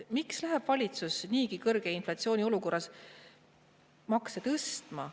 Miks läheb valitsus niigi kõrge inflatsiooni olukorras makse tõstma?